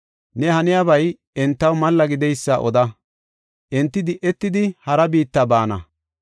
Ne haniyabay entaw malla gideysa oda; enti di7etidi hara biitta baana.